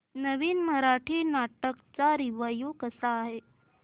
नवीन मराठी नाटक चा रिव्यू कसा आहे